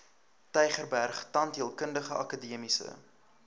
tygerberg tandheelkundige akademiese